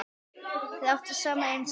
Þau áttu saman einn son.